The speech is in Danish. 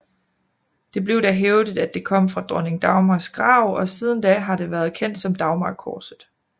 Det blev da hævdet at det kom fra dronning Dagmars grav og siden da har det været kendt som Dagmarkorset